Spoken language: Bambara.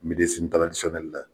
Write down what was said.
la